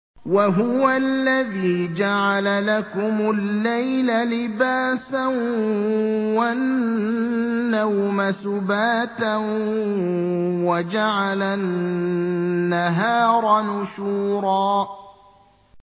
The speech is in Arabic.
وَهُوَ الَّذِي جَعَلَ لَكُمُ اللَّيْلَ لِبَاسًا وَالنَّوْمَ سُبَاتًا وَجَعَلَ النَّهَارَ نُشُورًا